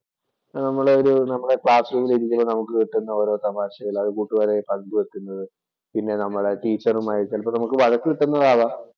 നമ്മുടെ ഒരു നമ്മുടെ ക്ലാസ് റൂമില്‍ ഇരിക്കുന്ന നമുക്ക് കിട്ടുന്ന ഓരോ തമാശകളും അത് കൂട്ടുകാരുമായി പങ്കുവയ്ക്കുന്നതും, പിന്നെ നമ്മുടെ ടീച്ചറുമായി ചിലപ്പോ നമുക്ക് വഴക്ക് കിട്ടുന്നതാവാം.